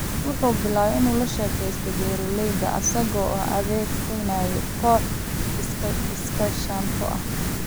Waxa uu bilaabay in uu la shaqeeyo beeralayda isaga oo adeegsanaya kooxo iskaashato ah.